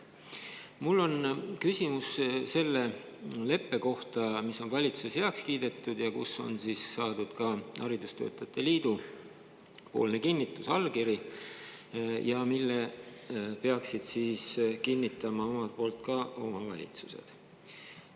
Mul on küsimus selle leppe kohta, mis on valitsuses heaks kiidetud ja millele on saadud haridustöötajate liidu poolne kinnitusallkiri ning mille peaksid kinnitama omalt poolt ka omavalitsused.